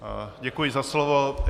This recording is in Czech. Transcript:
Děkuji za slovo.